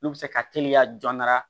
N'u bɛ se ka teliya jɔn dɔrɔn a